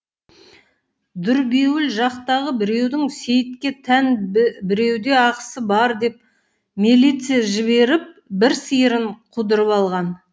дүрбеуіл жақтағы біреудің сейітке тән біреуде ақысы бар деп милиция жіберіп бір сиырын қудырып алған